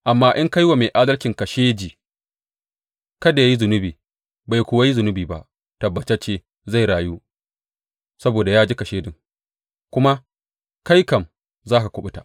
Amma in ka yi wa mai adalcin kashedi kada yă yi zunubi bai kuwa yi zunubi ba, tabbatacce zai rayu saboda ya ji kashedin, kuma kai kam za ka kuɓuta.